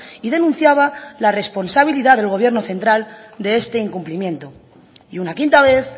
y denunciaba la responsabilidad del gobierno central de este incumplimiento y una quinta vez